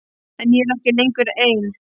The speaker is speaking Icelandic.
En ég er ekki lengur ein.